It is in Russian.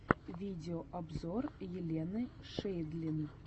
видеообзор елены шейдлин